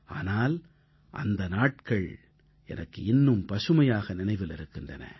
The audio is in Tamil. ஆனால் அந்த நாட்கள் எனக்கு இன்னும் பசுமையாக நினைவில் இருக்கின்றன